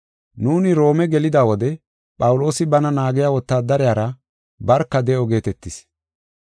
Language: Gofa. Nuuni Roome gelida wode Phawuloosi bana naagiya wotaadariyara barka de7o geetetis.